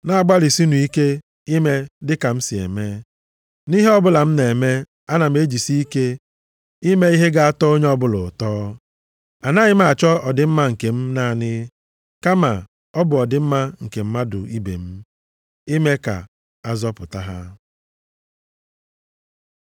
Na-agbalịsinụ ike ime dịka m si eme. Nʼihe ọbụla m na-eme, ana m ejisi ike ime ihe ga-atọ onye ọbụla ụtọ. Anaghị m achọ ọdịmma nke m naanị, kama ọ bụ ọdịmma nke mmadụ ibe m, ime ka a zọpụta ha.